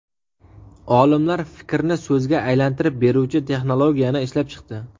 Olimlar fikrni so‘zga aylantirib beruvchi texnologiyani ishlab chiqdi.